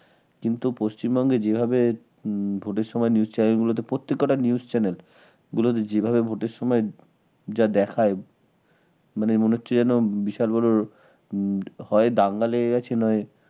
কিন্তু পশ্চিমবঙ্গে যেভাবে হম ভোটের সময় news channel গুলোতে প্রত্যেক কটা news channel গুলোতে যেভাবে ভোটের সময় যা দেখায় মানে মনে হচ্ছে যেন বিশাল বড় হয় দাঙ্গা লেগে গেছে নয়